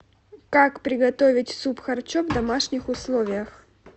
как приготовить суп харчо в домашних условиях